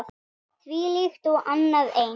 Þvílíkt og annað eins.